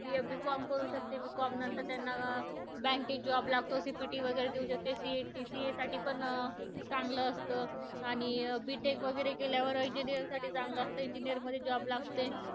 B com करू शकते. B com नंतर त्यांना bank मध्ये job लागतो. CPT वगैरे देऊ शकते. CA साठी पण चांगलं असतं. आणि B Tech वगैरे केल्यावर engineer साठी चांगलं असतं, engineer मध्ये job लागतो.